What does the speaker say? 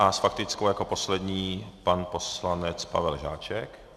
A s faktickou jako poslední pan poslanec Pavel Žáček.